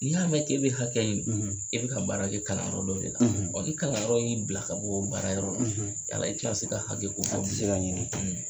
Ni' y'a mɛn k'e bɛ hakɛ ɲini i bi ka baara kɛ kalanyɔrɔ dɔw de la ɔ ni kalanyɔrɔ y'i bila ka bɔ o baarayɔrɔ la, yala i tina se ka hakɛ ko fɔ bilen, a ti se ka ɲini.